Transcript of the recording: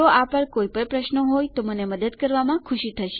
જો આ પર કોઈપણ પ્રશ્નો છે તો મને મદદ કરવામાં ખુશી થશે